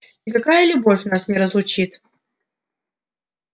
никакая любовь нас не разлучит